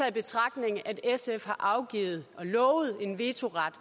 i betragtning at sf har afgivet og lovet en vetoret